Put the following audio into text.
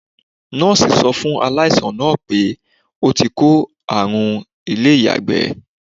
Nọọsi sọ fún aláìsàn náà pé ó tí kó àrùn ilé-iyagbe.